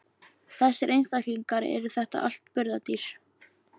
Þessir einstaklingar, eru þetta allt burðardýr?